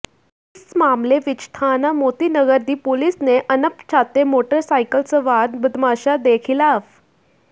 ਇਸ ਮਾਮਲੇ ਵਿਚ ਥਾਣਾ ਮੋਤੀ ਨਗਰ ਦੀ ਪੁਲਿਸ ਨੇ ਅਣਪਛਾਤੇ ਮੋਟਰਸਾਈਕਲ ਸਵਾਰ ਬਦਮਾਸ਼ਾਂ ਦੇ ਖ਼ਿਲਾਫ਼